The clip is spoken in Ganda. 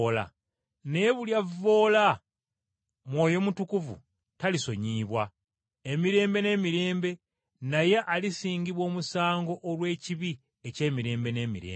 Naye buli alivvoola Mwoyo Mutukuvu talisonyiyibwa, emirembe n’emirembe naye alisingibwa omusango olw’ekibi eky’emirembe n’emirembe.”